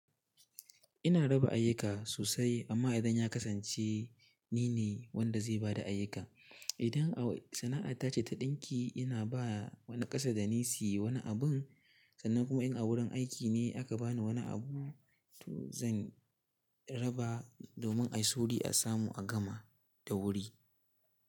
Ina raba ayyuka sosai amma idan ya kasance nine wanda zai ba da ayyuka, idan sana'ar ta ce ta ɗinki ina ba wani ƙasa da nisuyi wani abun sannan kuma in a wurin aiki ne aka bani wani abu to zan raba domin a yi sauri a samu a gama da wuri.